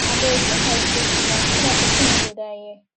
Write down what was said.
abeg make i sleep small so dat person no go die here